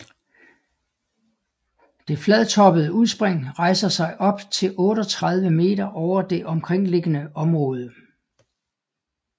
Det fladtopede udspring rejser sig op til 38 meter over det omkringliggende område